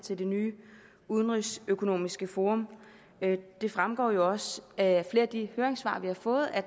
til det nye udenrigsøkonomiske forum det fremgår jo også af flere af de høringssvar vi har fået at